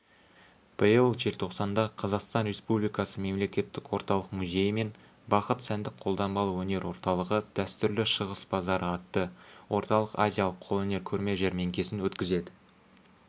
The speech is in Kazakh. биыл желтоқсанда қазақстан республикасы мемлекеттік орталық музейі мен бақыт сәндік-қолданбалы өнер орталығы дәстүрлі шығыс базары атты орталық-азиялық қолөнер көрме-жәрмеңкесін өткізеді